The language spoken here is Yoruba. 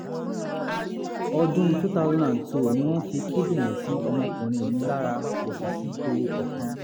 ọdún two thousand and two ni wọ́n fi kíndìnrín sí ọmọkùnrin mi lára kò sì sí ewu kankan